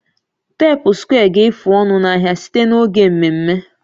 teepu square ga-efu ọnụ n'ahịa site n'oge mmemme